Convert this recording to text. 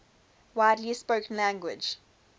widely spoken language